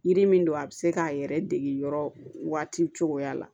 Yiri min don a bɛ se k'a yɛrɛ dege yɔrɔ waati cogoya la